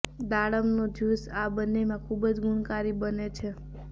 દાડમનું juice આ બંનેમાં ખૂબ જ ગુણકારી બને છે